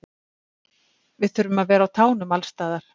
Við þurfum að vera á tánum alls staðar.